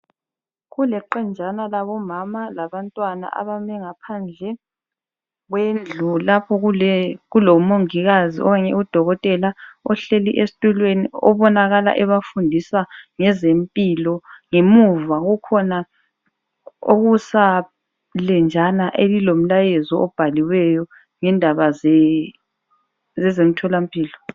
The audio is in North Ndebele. Kuleqenjana labomama labantwana abame ngaphandle kwendlu lapho kulomongikazi okanye udokotela ohleli esitulweni obonakala ebafundisa ngezempilo, ngemuva kukhona okusalenjana elilomlayezo obhaliweyo ngendaba zezomtholampilo.